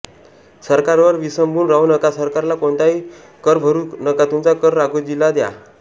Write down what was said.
सरकारवर विसंबून राहू नका सरकारला कोणताही कर भरू नका तुमचा कर राघोजीला द्या